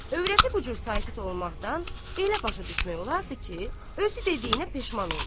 Övrəti bu cür sakit olmaqdan elə başa düşmək olardı ki, özü dediyinə peşman oldu.